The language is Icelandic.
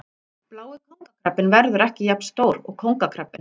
Blái kóngakrabbinn verður ekki jafn stór og kóngakrabbinn.